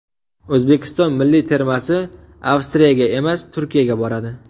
O‘zbekiston milliy termasi Avstriyaga emas, Turkiyaga boradi.